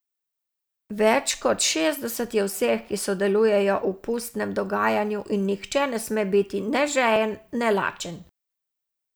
Več kot šestdeset je vseh, ki sodelujejo v pustnem dogajanju in nihče ne sme biti ne žejen ne lažen.